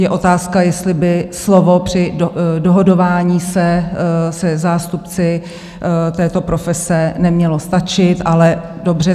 Je otázka, jestli by slovo při dohodování se zástupci této profese nemělo stačit, ale dobře.